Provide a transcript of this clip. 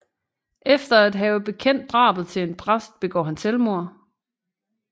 Efter at have bekendt drabet til en præst begår han selvmord